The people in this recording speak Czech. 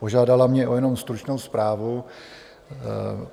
Požádala mě jenom o stručnou zprávu.